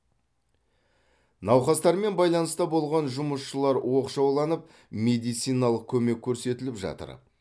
науқастармен байланыста болған жұмысшылар оқшауланып медициналық көмек көрсетіліп жатыр